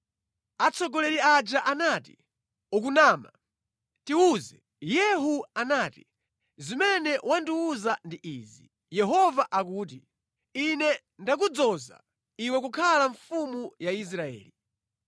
Atsogoleri aja anati, “Ukunama! Tiwuze.” Yehu anati, “Zimene wandiwuza ndi izi: ‘Yehova akuti: Ine ndakudzoza iwe kukhala mfumu ya Israeli.’ ”